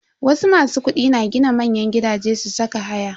Wasu masu kudi na gina manyan gidaje su saka haya.